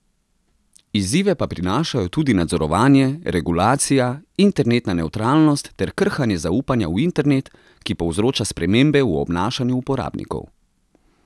Izzive pa prinašajo tudi nadzorovanje, regulacija, internetna nevtralnost ter krhanje zaupanja v internet, ki povzroča spremembe v obnašanju uporabnikov.